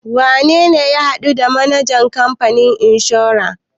Wane ne ya haɗu the manajan kamfanin inshora?